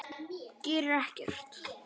Gerir ekkert.